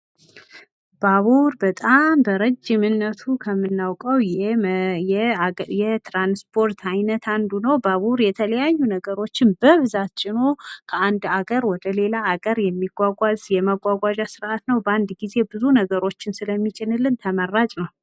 ባቡር በጣም በረጅምነቱ ከምናውቀው የትራንስፓርት አይነት አንዱ ነው። ባቡር የተለያዩ ነገሮችን በብዛት ጭኖ ከአንድ ሀገር ወደ ሌላ ሀገር የማጓጓዣ ስርአት ነው በአንድ ጊዜ ብዙ ነገሮችን ስለሚጭንልን ተመራጭ ነው።